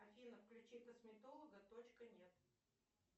афина включи косметолога точка нет